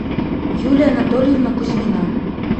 юлия анатольевна кузьмина